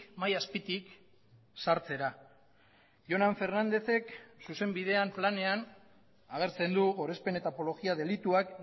mahai azpitik sartzera jonan fernandezek zuzenbidean planean agertzen du gorespen eta apologia delituak